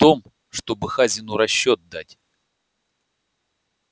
о том чтобы хазину расчёт дать